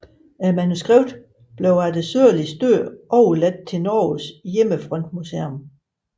Manuskriptet blev efter Sørlis død overladt til Norges Hjemmefrontmuseum